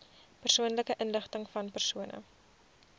persoonlike inligtingvan persone